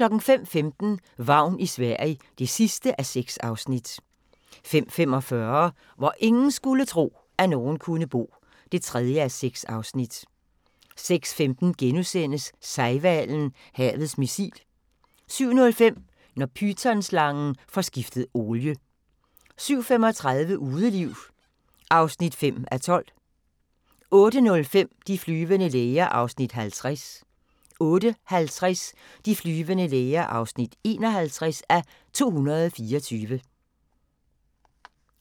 05:15: Vagn i Sverige (6:6) 05:45: Hvor ingen skulle tro, at nogen kunne bo (3:6) 06:15: Sejhvalen – havets missil * 07:05: Når pythonslangen får skiftet olie 07:35: Udeliv (5:12) 08:05: De flyvende læger (50:224) 08:50: De flyvende læger (51:224)